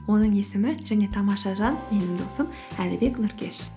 оның есімі және тамаша жан менің досым әлібек нұркеш